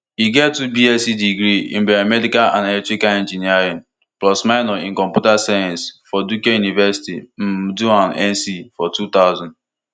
e get two bs degree in biomedical and electrical engineering plus minor in computer science from duke university um durham nc for two thousand